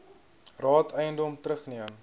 raad eiendom terugneem